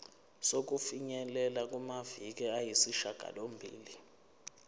sokufinyelela kumaviki ayisishagalombili